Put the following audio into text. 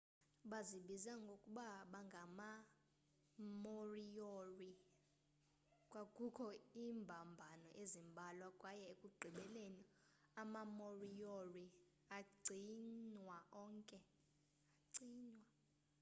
bazibiza ngokuba bangamamoriori kwakukho iimbambano ezimbalwa kwaye ekugqibeleni amamoriori acinywa onke